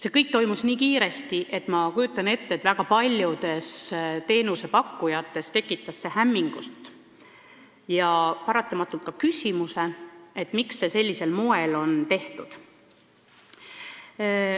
See kõik toimus nii kiiresti, et küllap tekitas see väga paljudes teenusepakkujates hämmingut ja paratamatult ka küsimuse, miks see säärasel moel on tehtud.